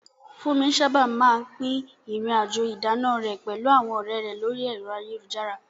Funmi sábà máa ń pín ìrìn-àjò ìdáná rẹ̀ pẹ̀lú àwọn ọ̀rẹ́ rẹ̀ lórí ẹ̀rọ ayélujára.